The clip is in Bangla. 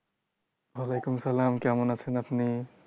ওয়ালাইকুম সালামI কেমন আছেন আপনি?